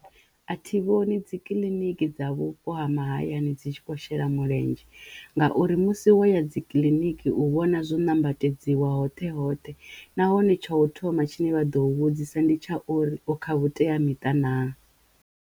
A thi vhoni dzi kiḽiniki dza vhupo ha mahayani dzi tshi khou shela mulenzhe ngauri musi waya dzi kiḽiniki u vhona zwo nambatedziwa hoṱhe hoṱhe nahone tsho u thoma tshine vha ḓo vhudzisa ndi tsha uri o khavhuteamiṱa naa.